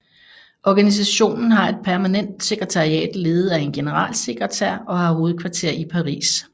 Organisationen har et permanent sekretariat ledet af en generalsekretær og har hovedkvarter i Paris